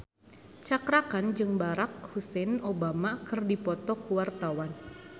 Cakra Khan jeung Barack Hussein Obama keur dipoto ku wartawan